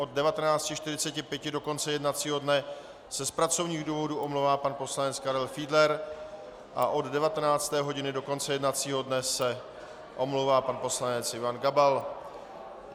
Od 19.45 do konce jednacího dne se z pracovních důvodů omlouvá pan poslanec Karel Fiedler a od 19. hodiny do konce jednacího dne se omlouvá pan poslanec Ivan Gabal.